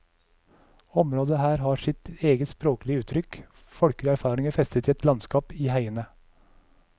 Området her har sitt eget sproglige uttrykk, folkelige erfaringer festet i et landskap, i heiene.